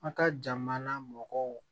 An ka jamana mɔgɔw